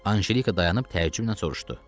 Anjelika dayanıb təəccüblə soruşdu.